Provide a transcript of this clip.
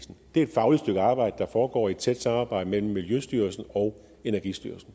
det er et fagligt stykke arbejde der foregår i et tæt samarbejde mellem miljøstyrelsen og energistyrelsen